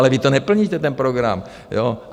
Ale vy to neplníte, ten program!